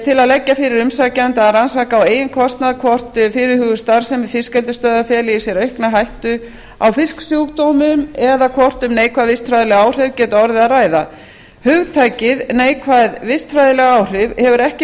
til að leggja fyrir umsækjanda að rannsaka á eigin kostnað hvort fyrirhuguð starfsemi fiskeldisstöðvar feli í sér aukna hættu á fisksjúkdómum eða hvort um neikvæð vistfræðileg áhrif geti orðið að ræða hugtakið neikvæð vistfræðileg áhrif hefur ekki